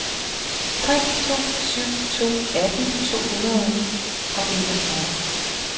tre to syv to atten to hundrede og enogfyrre